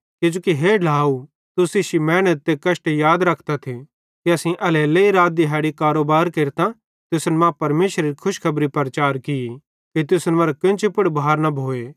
किजोकि हे ढ्लाव तुस इश्शी मेहनत ते कष्टे याद रखतथ कि असेईं एल्हेरेलेइ रात दिहैड़ी कारोबार केरतां तुसन मां परमेशरेरी खुशखबरी प्रचार की कि तुसन मरां कोन्ची पुड़ भार न भोए